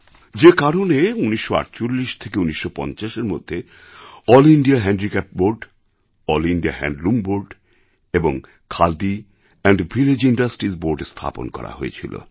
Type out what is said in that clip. যেকারণে ১৯৪৮ থেকে ১৯৫০এর মধ্যে এএলএল ইন্দিয়া হ্যান্ডিক্রাফটসহ board all India handloom board এবং খাদি ভিলেজ ইন্ডাস্ট্রিস বোর্ড স্থাপন করা হয়েছিল